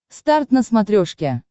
старт на смотрешке